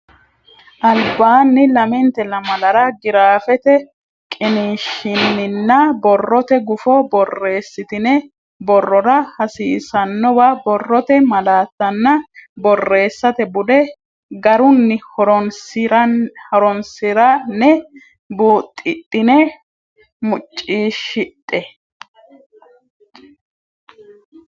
albaanni lamente lamalara giraafete qiniishshinninna borrote gufo borreessitini borrora hasiissannowa borrote malaattanna borreessate bude garunni horonsi ra ne buuxidine muccishidhe.